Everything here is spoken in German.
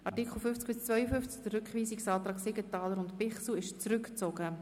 Zu Artikel 50 bis 52: Der Rückweisungsantrag Siegenthaler und Bichsel wurde zurückgezogen.